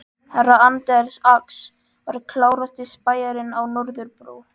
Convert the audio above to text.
Herra Anders Ax var klárasti spæjarinn á Norðurbrú.